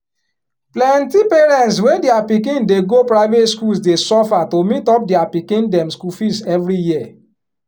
plenty parents wey dia pikin dey go private schools dey suffer to meet up dia pikin dem school fees every year